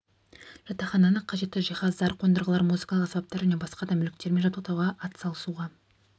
жатақхананы қажетті жиһаздар қондырғылар музыкалық аспаптар және басқа да мүліктермен жабдықтауға атсалысуға